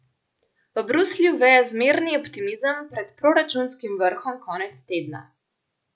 V Bruslju veje zmerni optimizem pred proračunskim vrhom konec tedna.